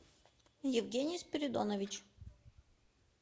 евгений спиридонович